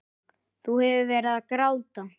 Þú hefur verið að gráta!